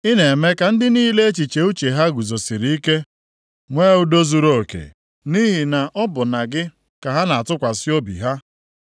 Ị na-eme ka ndị niile echiche uche ha guzosiri ike nwee udo zuruoke, nʼihi na ọ bụ na gị ka ha na-atụkwasị obi ha.